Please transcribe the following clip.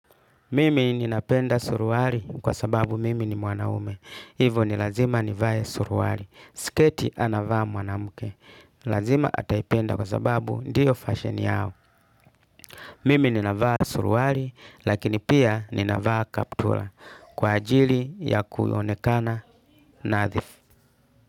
Mimi ninapenda suruali kwa sababu mimi ni mwanaume. Hivo ni lazima nivae suruali. Sketi anavaa mwanamke. Lazima ataipenda kwa sababu ndiyo fashion yao. Mimi ninavaa suruali lakini pia ninavaa kaptura. Kwa ajili ya kuonekana nadhifu.